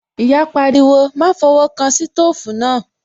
Ìyá pariwo, "Má fọwọ́ kan sítòfù náà"